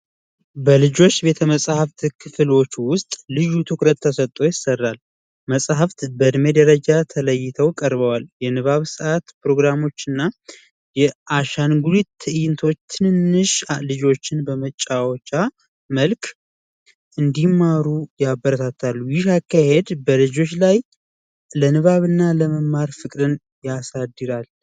በልጆች ቤተመጻሕፍት ክፍል ውስጥ ልዩ ትኩረት ተሰጥቶ ይሠራል። መጻሕፍት በእድሜ ደረጃ ተለይቶ ይቀርባል። የንባብ ሰዓት ፕሮግራሞችና የአሻንጉሊት ትእይንቶች ትንሽ ልጆችን በመጫወቻ መልክ እንዲማሩ ያበረታታል። ይህ አካሄድ በልጆች ላይ የመማርና የንባብ ፍቅርን ያሳድጋል።